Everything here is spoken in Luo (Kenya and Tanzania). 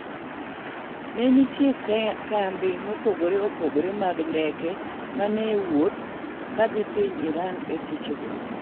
ne nitie kambe mopogore opogore mag ndeke mane ni ewuuoth kadhi piny Iran eseche go